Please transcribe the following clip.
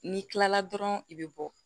N'i kilala dɔrɔn i bɛ bɔ